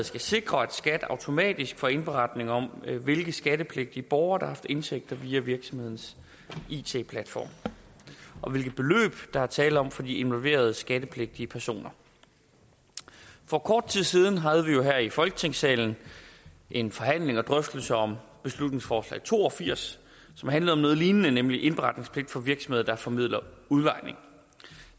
skal sikre at skat automatisk får indberetning om hvilke skattepligtige borgere der har haft indtægter via virksomhedens it platform og hvilke beløb der er tale om for de involverede skattepligtige personer for kort tid siden havde vi jo her i folketingssalen en forhandling og drøftelse om beslutningsforslag to og firs som handlede om noget lignende nemlig indberetningspligt for virksomheder der formidler udlejning